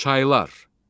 Çaylar.